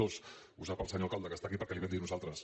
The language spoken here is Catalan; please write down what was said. dos ho sap el senyor alcalde que està aquí perquè li ho vam dir nosaltres